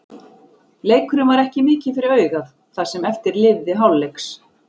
Leikurinn var ekki mikið fyrir augað það sem eftir lifði hálfleiks.